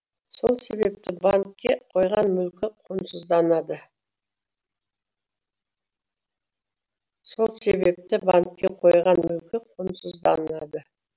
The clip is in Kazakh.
сол себепті банкке қойған мүлкі құнсызданады